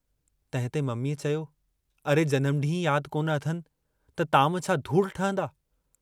तंहिंते मम्मीअ चयो, अरे जनमु डींहुं ई याद कोन अथनि त ताम छा धूड़ ठहंदा।